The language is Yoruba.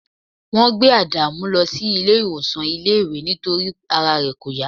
wọ́n gbé adamu lọ sí ilé ìwòsàn iléèwé nítorí pé ara rẹ̀ kò yá